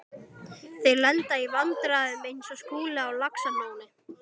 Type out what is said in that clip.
Þeir lenda í vandræðum eins og Skúli á Laxalóni.